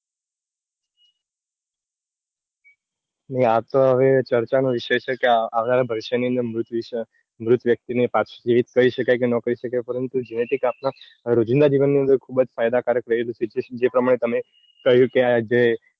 ને આતો હવે ચર્ચા નો વિસય છે કે હવે આ આવનારા ભવિષ્ય ની અંદર મૃત વ્યક્તિ ને પછી જીવિત કરી શકાય કે નો કરી શકાય પરંતુ genetic આપડા રોજિન્દા જીવન ની અંદર ખુબજ ફાયદાકારક રહ્યું છે જે પ્રમાણે તમે કહ્યું કે આ જે